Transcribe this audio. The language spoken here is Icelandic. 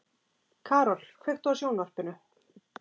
Karol, kveiktu á sjónvarpinu.